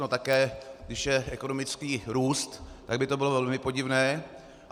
No také když je ekonomický růst, tak by to bylo velmi podivné.